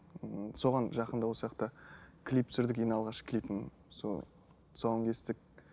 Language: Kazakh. ыыы соған жақында клип түсірдік ең алғаш клипім сол тұсауын кестік